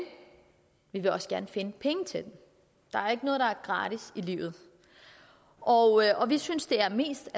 vi vil også gerne finde penge til den der er ikke noget der er gratis i livet og og vi synes det er mest